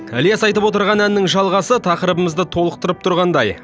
ілияс айтып отырған әннің жалғасы тақырыбымызды толықтырып тұрғандай